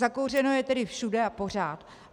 Zakouřeno je tedy všude a pořád.